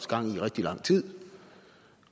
gang i i rigtig lang tid